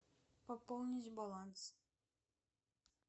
пополнить баланс